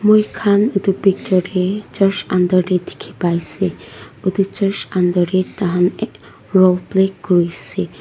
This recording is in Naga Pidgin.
moi khan etu picture tey church under tey dekhe pai se etu church under tey taihan ek role play kureshe.